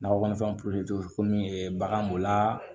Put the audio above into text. Nakɔfɛn komi bagan b'o la